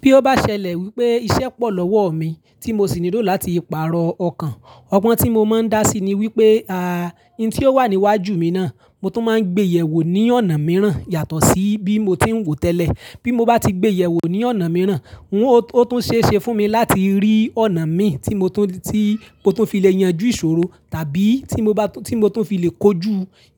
Bí ó bá ṣẹlẹ̀ wípé iṣẹ́ pọ̀ lọ́wọ́ mi tí mo sì nílò láti pààrọ̀ ọkàn, ọgbọ́n tí mo máa ń dá sí ni wípé, à, ohun tí ó wà níwájú mi náà, mo tún máa ń gbéyẹ̀wò ní ọ̀nà mìíràn yàtọ̀ sí bí mo ti ń wò tẹ́lẹ̀. Bí mo bá ti gbéyẹ̀wò ní ọ̀nà mìíràn, ó tún ṣeé ṣe fún mi láti rí ọ̀nà mi tí mo tún fi lè yanjú ìṣòro, tàbí tí mo tún fi lè kojú,